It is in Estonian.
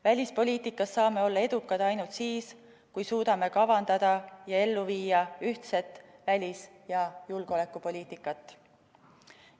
Välispoliitikas saame olla edukad ainult siis, kui suudame kavandada ja ellu viia ühtset välis- ja julgeolekupoliitikat.